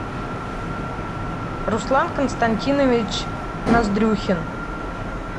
руслан константинович ноздрюхин